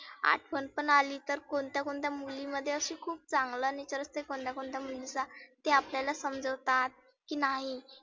आठवनं पण आली तर कोणत्या कोणत्या मुली मध्ये खुप चांगला nature असते कोणत्या कोणत्या मुलींचा. ते आपल्याला समजवतात, की नाही